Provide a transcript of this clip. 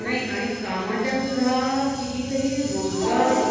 नाही कामाच्या सुद्धा किती तरी रोजगार